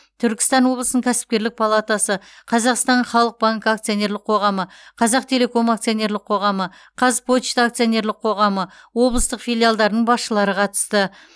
түркістан облысының кәсіпкерлік палатасы қазақстан халық банкі акционерлік қоғамы қазақтелеком акционерлік қоғамы қазпочта акционерлік қоғамы облыстық филиалдарының басшылары қатысты